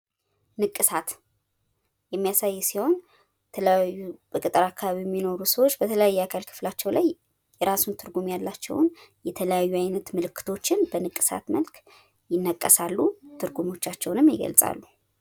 የማስጌጥ ቁሳቁሶች የተለያዩ ሊሆኑ ይችላሉ፤ አበቦች፣ ፊኛዎች፣ ጨርቆች፣ መብራቶችና ሥዕሎች በብዛት ያገለግላሉ።